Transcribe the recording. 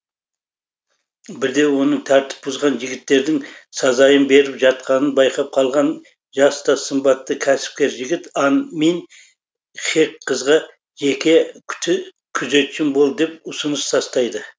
бірде оның тәртіп бұзған жігіттердің сазайын беріп жатқанын байқап қалған жас та сымбатты кәсіпкер жігіт ан мин хек қызға жеке күзетшім бол деп ұсыныс тастайды